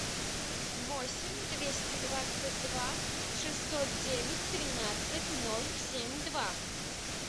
восемь двести двадцать два шестьсот девять тринадцать ноль семь два